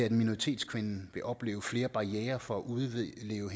at minoritetskvinden vil opleve flere barrierer for at udleve